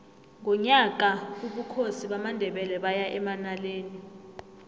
ngonyaka ka ubukhosi bamandebele baya emanaleli